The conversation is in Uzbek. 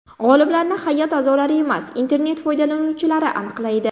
G‘oliblarni hay’at a’zolari emas, internet foydalanuvchilari aniqlaydi.